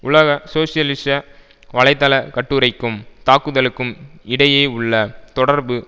உலக சோசியலிச வலைதள கட்டுரைக்கும் தாக்குதலுக்கும் இடையே உள்ள தொடர்பு